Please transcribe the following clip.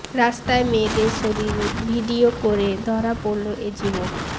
রাস্তায় মেয়েদের শরীর ভিডিও করে ধরা পড়ল এ যুবক